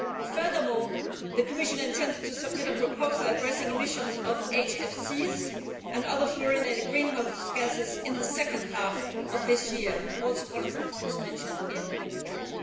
Furthermore, the Commission intends to submit a proposal addressing emissions of HFCs and other fluorinated greenhouse gases in the second half of this year, which is also mentioned in the report.